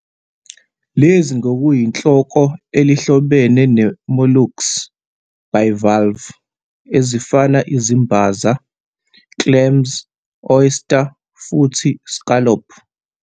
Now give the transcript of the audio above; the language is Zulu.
Lezi ngokuyinhloko elihlobene ne -molluscs bivalve, ezifana izimbaza, clams, oyster futhi scallop.